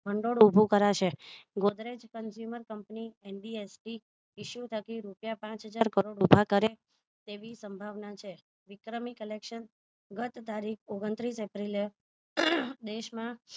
ભંડોળ ઉભું કરાશે godrej consumer કંપની MBSB issue થતી રૂપિયા પાંચ હજાર કરોડ ઊભા કરે તેવી સંભાવના છે વિક્રમી collection ગત તારીખ ઓગણત્રીસ એપ્રિલ એ દેશમાં